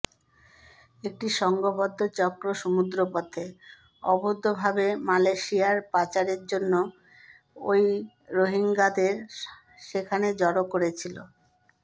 একটি সংঘবদ্ধ চক্র সমুদ্রপথে অবৈধভাবে মালয়েশিয়ায় পাচারের জন্য ওই রোহিঙ্গাদের সেখানে জড়ো করেছিল